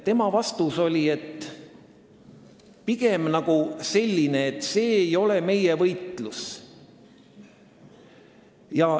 Tema vastus oli pigem selline, et see ei ole meie võitlus.